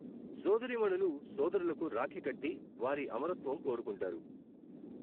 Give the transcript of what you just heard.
సోదరీమణులు సోదరులకు రాఖీ కట్టి వారి అమరత్వం కోరుకుంటారు.